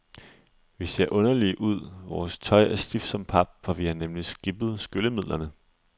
Vi ser underlige ud, vores tøj er stift som pap, for vi har nemlig skippet skyllemidlerne.